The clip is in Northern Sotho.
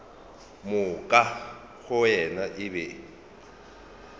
moka go yena e be